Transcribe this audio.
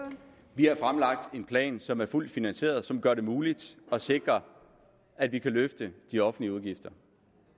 vi har fremlagt en plan som er fuldt finansieret og som gør det muligt at sikre at vi kan løfte de offentlige udgifter